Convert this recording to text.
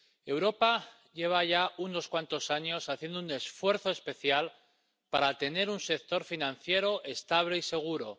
Europa lleva ya unos cuantos años haciendo un esfuerzo especial para tener un sector financiero estable y seguro.